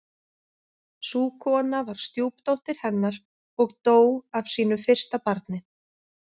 Sú kona var stjúpdóttir hennar og dó af sínu fyrsta barni.